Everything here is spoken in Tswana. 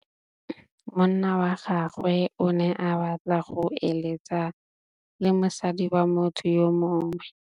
Monna wa gagwe o ne a batla go êlêtsa le mosadi wa motho yo mongwe.